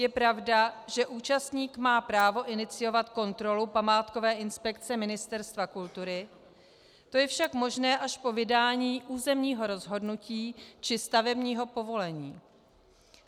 Je pravda, že účastník má právo iniciovat kontrolu památkové inspekce Ministerstva kultury, to je však možné až po vydání územního rozhodnutí či stavebního povolení.